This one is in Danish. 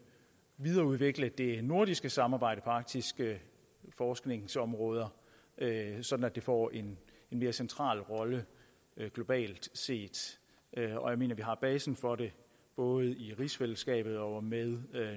videreudvikle det nordiske samarbejde på arktiske forskningsområder så det får en mere central rolle globalt set jeg mener vi har basen for det både i rigsfællesskabet og med